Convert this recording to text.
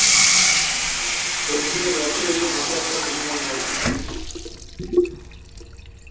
অর্জুনের রথে দেখবে মাথায় একটা হনূমান বসানো ছিল